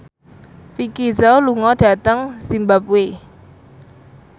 Vicki Zao lunga dhateng zimbabwe